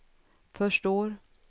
förstår